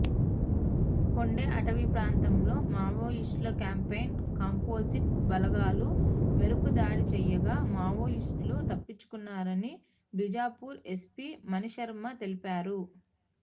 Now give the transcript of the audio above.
కొండే అటవీప్రాంతంలో మావోయిస్టుల క్యాంప్పై కాంపోజిట్ బలగాలు మెరుపుదాడి చేయగా మావోయిస్టులు తప్పించుకున్నారని బీజాపూర్ ఎస్పీ మనీష్శర్మ తెలిపారు